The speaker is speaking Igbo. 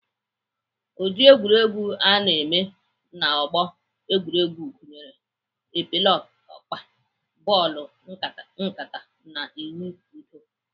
Ụdịrị egwuregwu ana eme n'ọgbọ egwuregwu gụnyere epeleọkpa, bọọlụ nkata na ịwụ ụdọ.